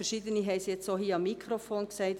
verschiedene haben es via Mikrofon gesagt: